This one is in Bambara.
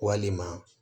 Walima